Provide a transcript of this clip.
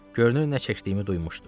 Görünür nə çəkdiyimi duymuşdu.